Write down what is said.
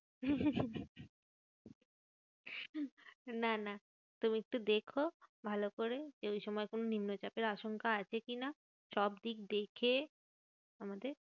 না না তুমি একটু দেখো ভালো করে যে, ওই সময় কোনো নিম্নচাপের আশঙ্কা আছে কি না? সব দিক দেখে আমাদের যেতে